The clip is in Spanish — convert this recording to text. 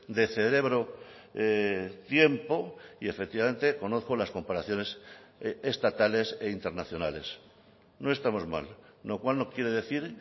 de cerebro tiempo y efectivamente conozco las comparaciones estatales e internacionales no estamos mal lo cual no quiere decir